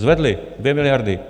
Zvedli, 2 miliardy.